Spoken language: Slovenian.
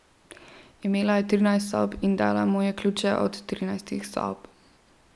Imela je trinajst sob in dala mu je ključe od trinajstih sob.